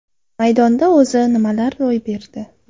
Maydonda o‘zi nimalar ro‘y berdi?.